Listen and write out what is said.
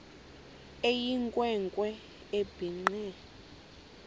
eyinkwe nkwe ebhinqe